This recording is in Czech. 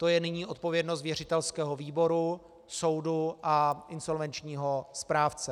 To je nyní odpovědnost věřitelského výboru, soudu a insolvenčního správce.